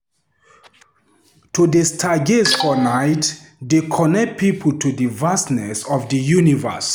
To dey stargaze for nite dey connect pipo to di vastness of di universe.